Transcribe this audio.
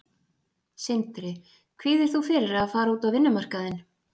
Sindri: Kvíðir þú fyrir að fara út á vinnumarkaðinn?